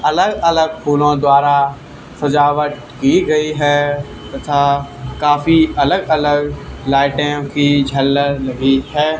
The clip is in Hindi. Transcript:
अलग अलग फूलों द्वारा सजावट की गई है तथा काफी अलग अलग लाइटें की झलर लगी है।